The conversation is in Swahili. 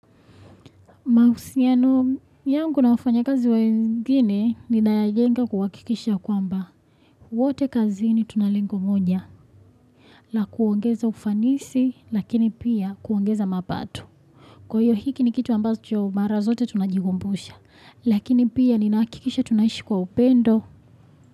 Mahusiano yangu nafanya kazi wengine ni nayajenga kuhakikisha kwamba wote kazi ni tunalingo monya la kuongeza ufanisi lakini pia kuongeza mapato. Kwa hiyo hiki ni kitu ambazo mara zote tunajigumbusha lakini pia ni nakikisha tunaishi kwa upendo.